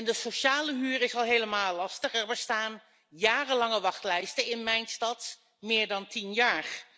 De sociale huur is al helemaal lastig er bestaan jarenlange wachtlijsten in mijn stad, van meer dan tien jaar.